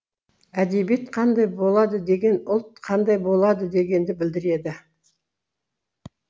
әдебиет қандай болады деген ұлт қандай болады дегенді білдіреді